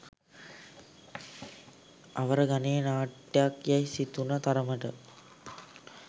අවර ගණයේ නාට්‍යක් යැයි සිතුන තරමට